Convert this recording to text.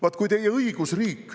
" Vaat kui teie õigusriik …